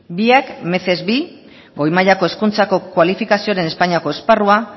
biak goi mailako hezkuntzako kualifikazioren espainiako esparrua